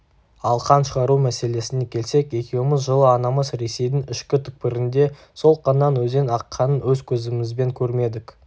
ал қан шығару мәселесіне келсек екеуміз жылы анамыз ресейдің ішкі түкпірінде сол қаннан өзен аққанын өз көзімізбен көрмедік